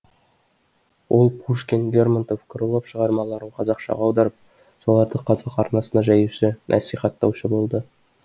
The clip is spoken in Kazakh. ол пушкин лермонтов крылов шығармаларын қазақшаға аударып соларды қазақ арасына жаюшы насихаттаушы болды